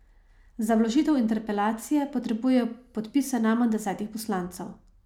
Za vložitev interpelacije potrebujejo podpise najmanj desetih poslancev.